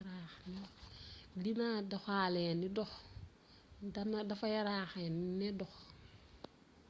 dina doxalee ne ndox dafa yaraax ne ndox